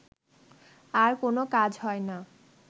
আর কোনো কাজ হয় না